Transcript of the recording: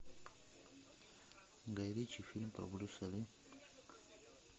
гай ричи фильм про брюса ли